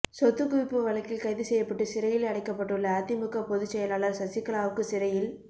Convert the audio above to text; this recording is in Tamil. சொத்துக் குவிப்பு வழக்கில் கைது செய்யப்பட்டு சிறையில் அடைக்கப்பட்டுள்ள அதிமுக பொதுச் செயலாளர் சசிகலாவுக்கு சிறையில்